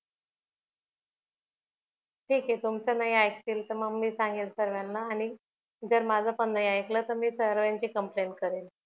ठीक आहे तुमच नाही आईकतील तर मी सांगेल सर्वांना आणि जर माझ पण नाही आईकलं तर मी सर्वांची complaint करेल